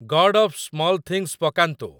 God of small things ପକାନ୍ତୁ